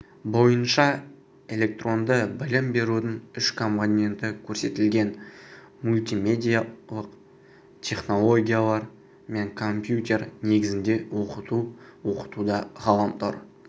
бойынша электронды білім берудің үш компоненті көрсетілген мультимедиалық технологиялар мен компьютер негізінде оқыту оқытуда ғаламтор